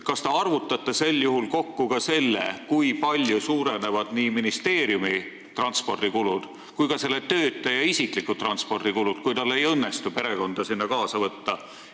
Kas te arvutate sel juhul kokku ka selle, kui palju suurenevad nii ministeeriumi kui ka selle töötaja isiklikud transpordikulud, kui tal ei õnnestu sinna perekonda kaasa võtta?